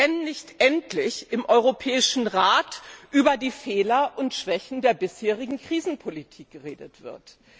wenn nicht endlich im Europäischen Rat über die Fehler und Schwächen der bisherigen Krisenpolitik geredet wird.